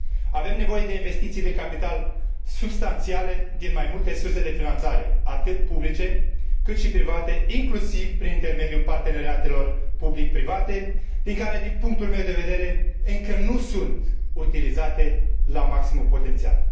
Avem nevoie de investiții de capital substanțiale din mai multe surse de finanțare atât publice, cât și private, inclusiv prin intermediul parteneriatelor public private, care, din punctul meu de vedere, încă nu sunt utilizate la maximul potențial